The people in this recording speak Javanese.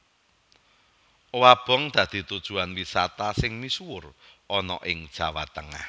Owabong dadi tujuwan wisata sing misuwur ana ing Jawa Tengah